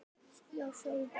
Já, sjáðu bara!